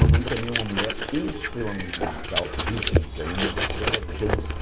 Mamãe também é uma mulher extremamente musical, rítmica, e o negócio dela é dança.